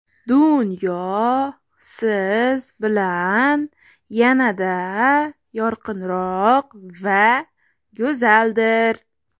Dunyo siz bilan yanada yorqinroq va go‘zaldir.